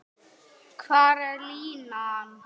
Hvar er línan?